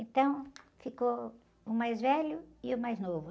Então, ficou o mais velho e o mais novo.